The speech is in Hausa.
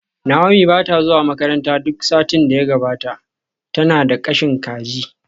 Naomi ba ta zuwa makaranta duk satin da ya gabata, tana da kashin kaji